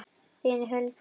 Þín, Hulda.